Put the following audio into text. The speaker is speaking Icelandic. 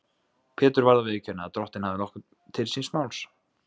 Pétur varð að viðurkenna að Drottinn hafði nokkuð til síns máls.